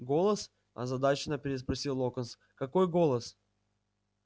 голос озадаченно переспросил локонс какой голос